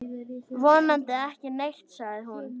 Vonandi ekki neitt, sagði hún.